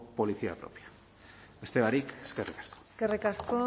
policía propia beste barik eskerrik asko eskerrik asko